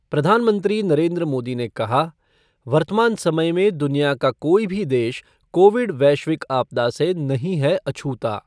प्रधानमंत्री नरेंद्र मोदी ने कहा वर्तमान समय में दुनिया का कोई भी देश कोविड वैश्विक आपदा से नही है अछूता।